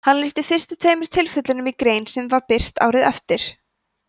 hann lýsti fyrstu tveimur tilfellunum í grein sem var birt árið eftir